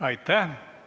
Aitäh!